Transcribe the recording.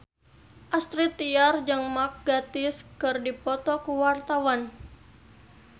Astrid Tiar jeung Mark Gatiss keur dipoto ku wartawan